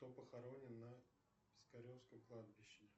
кто похоронен на пискаревском кладбище